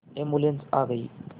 ambulance आ गई